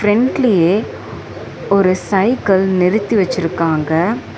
ஃபிரண்ட்லியே ஒரு சைக்கிள் நிறுத்தி வச்சிருக்காங்க.